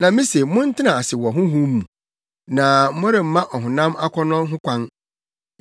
Na mise montena ase wɔ Honhom mu, na moremma ɔhonam akɔnnɔ ho kwan.